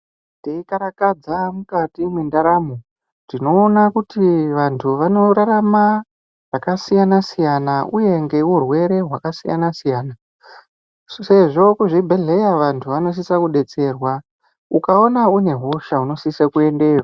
Teikarakadza mukati mendaramo, tinoona kuti vantu vanorarama zvakasiyana-siyana uye ngeurwere hwakasiyana siyana sezvo kuzvibhedhlera vantu vanosise kudetserwa. Ukaone une hosha unosise kuendeyo.